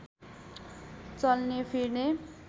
चल्ने फिर्ने